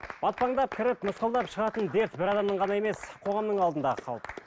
батпаңдап кіріп мысқылдап шығатын дерт бір адамның ғана емес қоғамның алдындағы қауіп